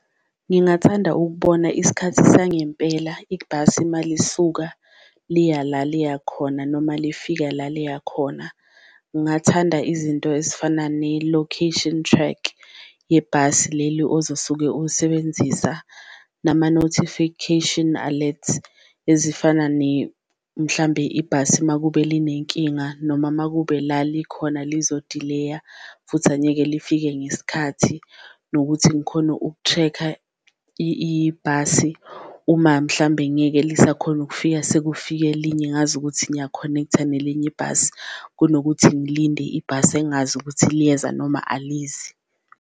Ngingathanda ukubona isikhathi sangempela ibhasi uma lisuka liya la liya khona noma lifika la liya khona, ngathanda izinto ezifana ne-location track yebhasi leli ozosuke usebenzisa. Nama-notification alert ezifana mhlambe ibhasi makube linenkinga, noma makube la likhona lizodileya futhi anyeke lifike ngesikhathi. Nokuthi ngikhone uku-check-a ibhasi uma mhlambe ngeke lisakhona ukufika sekufike elinye, ngazi ukuthi ngiya-connect-a nelinye ibhasi kunokuthi ngilinde ibhasi engazi ukuthi liyeza noma alizi.